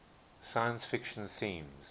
science fiction themes